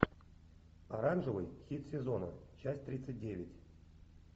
оранжевый хит сезона часть тридцать девять